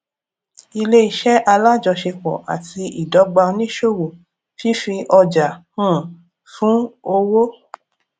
ilé iṣẹ alájọṣepọ àti ìdọgba oníṣòwò fífi ọjà um fún owó